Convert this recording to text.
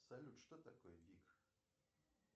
салют что такое биг